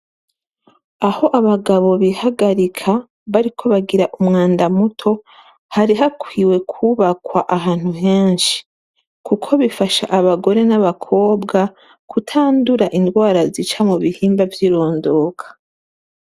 Aho abagabo bihagarika bariko bagira umwanda muto hari hakwiwe kubakwa ahantu henshi, kuko bifasha abagore n'abakobwa kutandura indwara zica mu bihimba vyirondoka.